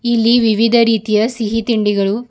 ಇಲ್ಲಿ ವಿವಿಧ ರೀತಿಯ ಸಿಹಿ ತಿಂಡಿಗಳು--